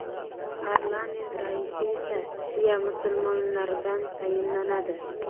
Parlament raisi esa shia musulmonlaridan tayinlanadi.